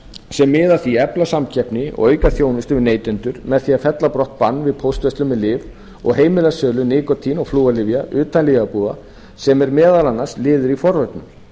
sem miða að því að efla samkeppni og auka þjónustu við neytendur með því að fella brott bann við póstverslun með lyf og heimila sölu nikótín og flúorlyfja utan lyfjabúða sem er meðal annars liður í forvörnum